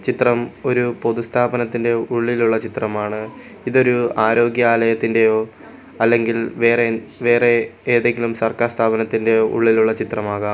ചിത്രം ഒരു പൊതുസ്ഥാപനത്തിൻ്റെ ഉള്ളിലുള്ള ഒരു ചിത്രമാണ് ഇതൊരു ആര്യോഗ്യാലയത്തിൻ്റെയോ അല്ലെങ്കിൽ വേറെ എൻ വേറെ ഏതെങ്കിലും സർക്കാർ സ്ഥാപനത്തിൻ്റെ ഉള്ളിലുള്ള ചിത്രമാകാം.